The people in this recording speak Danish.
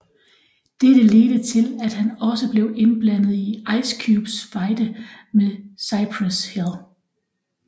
Dette ledte til at han også blev indblandet i Ice Cubes fejde med Cypress Hill